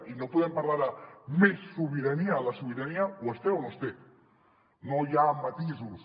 i no podem parlar de més sobirania la sobirania o es té o no es té no hi ha matisos